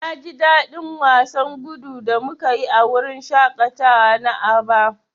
Na ji dadin wasan gudu da muka yi a wurin shaƙatawa na Aba.